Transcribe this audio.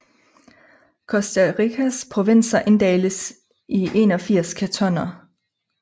Costa Ricas provinser inddeles i 81 kantoner